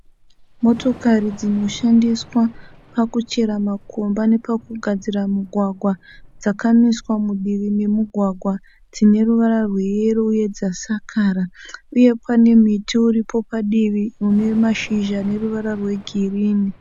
Motokari dzinoshandiswa pakuchera makomba nepakugadzira mugwagwa dzakamiswa mudivi memugwagwa dzine ruvara rweyero uye dzasakara uye pane muti uripo padivi une mashizha une ruvara rwegirini.